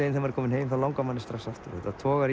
maður kemur heim langar mann strax aftur þetta togar